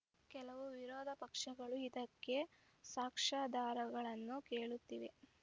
ಕೆಲವು ವಿರೋಧ ಪಕ್ಷಗಳು ಇದಕ್ಕೆ ಸಾಕ್ಷ್ಯಾಧಾರಗಳನ್ನು ಕೇಳುತ್ತಿವೆ